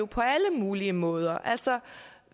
på alle mulige måder altså